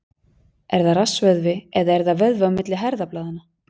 Er það rassvöðvi eða er það vöðvi á milli herðablaða?